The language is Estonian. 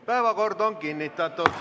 Päevakord on kinnitatud.